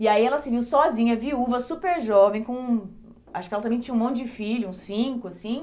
E aí ela se viu sozinha, viúva, super jovem com, acho que ela também tinha um monte de filhos, uns cinco, assim.